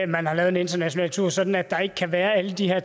man har lavet en international tur sådan at der ikke kan være alle de her